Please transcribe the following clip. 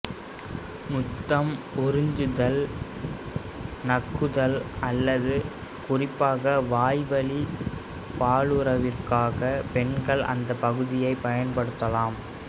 முத்தம் உறிஞ்சுதல் நக்குதல் அல்லது குறிப்பாக வாய்வழி பாலுறவிற்காக பெண்கள் அந்தப் பகுதிகளைப் பயன்படுத்தலாம்